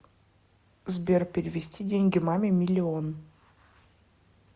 сбер перевести деньги маме миллион